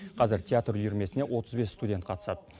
қазір театр үйірмесіне отыз бес студент қатысады